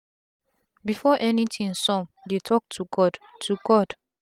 before anything sum dey talk to god to god